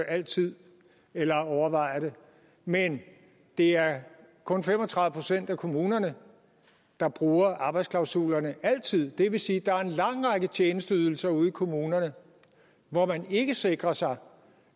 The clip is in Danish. altid eller overvejer det men det er kun fem og tredive procent af kommunerne der bruger arbejdsklausulerne altid det vil sige at der er en lang række tjenesteydelser ude i kommunerne hvor man ikke sikrer sig